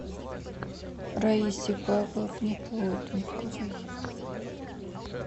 раисе павловне плотниковой